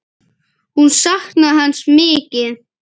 Hún saknaði hans mikið.